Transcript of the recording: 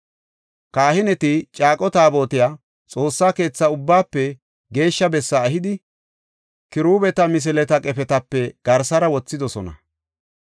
Kahineti Caaqo Taabotey Xoossaa keethaa Ubbaafe Geeshsha Bessaa ehidi, kiruubeta misileta qefetape garsara wothidosona.